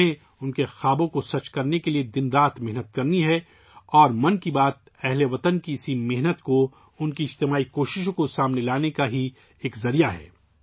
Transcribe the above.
ہمیں اُن کے خوابوں کو سچ کرنے کے لیے دن رات محنت کرنی ہے اور 'من کی بات' اہل وطن کی ، اِسی محنت کو ، اُن کی اجتماعی کوششوں کو سامنے لانے کا ایک ذریعہ ہے